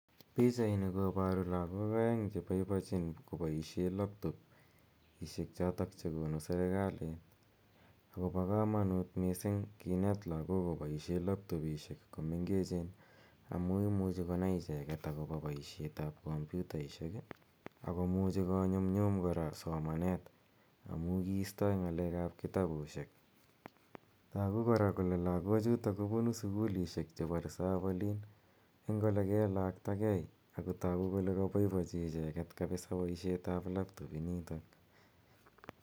Pichaini koboru lagok aeng che boibochin koboisien laptop isiek choto che gonu sergali ago bo kamanut mising kinet lagok koboisien laptopisiek komengechen amu imuchi konai icheget agobo boisietab komputaisiek ii ak komuchi konyumnyum kora somanet amu kigiistoi ngalekab kitabusiek. Tagu kora kole lagochuto kobunu reserve olin eng olegelaktagei ago tagu kole kabaibaichi icheget kapisa boisietab laptop initok